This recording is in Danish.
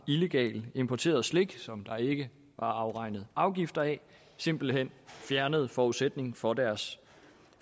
illegalt importerede slik som der ikke var afregnet afgifter af simpelt hen fjernede forudsætningen for deres